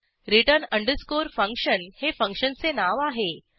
return underscore function हे फंक्शनचे नाव आहे